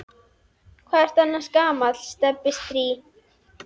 Hvað ertu annars gamall, Stebbi strý?